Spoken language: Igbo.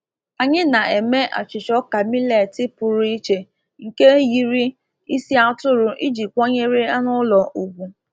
Anyị na-eme achịcha ọka millet pụrụ iche nke yiri isi atụrụ iji kwanyere anụ ụlọ ugwu.